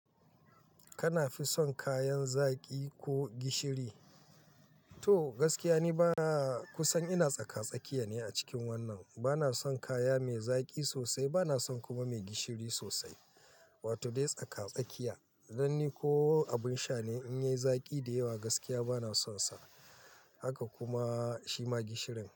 Kana fi son kayan zaƙi ko gishiri? To gaskiya ne bana, kusan ina tsaka-tsakiya ne a cikin wannan. Bana son kaya mai zaƙi sosai bana son kuma mai gishiri sosai, wato dai tsaka-tsakiya. Dan ni ko abin sha ne, in yi zaƙi da yawa gaskiya bana son sa, haka kuma shima gishirin.